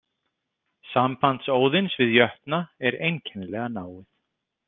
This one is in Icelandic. Samband Óðins við jötna er einkennilega náið.